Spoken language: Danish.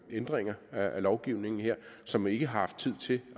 ændringer af lovgivningen her som ikke har haft tid til